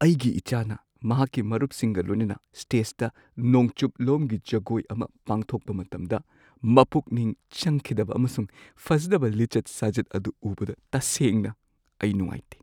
ꯑꯩꯒꯤ ꯏꯆꯥꯅ ꯃꯍꯥꯛꯀꯤ ꯃꯔꯨꯞꯁꯤꯡꯒ ꯂꯣꯏꯅꯅ ꯁ꯭ꯇꯦꯖꯇ ꯅꯣꯡꯆꯨꯞꯂꯣꯝꯒꯤ ꯖꯒꯣꯏ ꯑꯃ ꯄꯥꯡꯊꯣꯛꯄ ꯃꯇꯝꯗ ꯃꯄꯨꯛꯅꯤꯡ ꯆꯪꯈꯤꯗꯕ ꯑꯃꯁꯨꯡ ꯐꯖꯗꯕ ꯂꯤꯆꯠ ꯁꯥꯖꯠ ꯑꯗꯨ ꯎꯕꯗ ꯇꯁꯦꯡꯅ ꯑꯩ ꯅꯨꯡꯉꯥꯏꯇꯦ ꯫